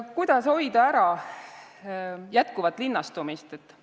Kuidas hoida ära jätkuvat linnastumist?